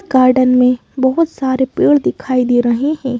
Garden में बहुत सारे पेड़ दिखाई दे रहे हैं।